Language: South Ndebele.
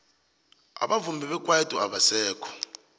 abavumi bekwaito abasekho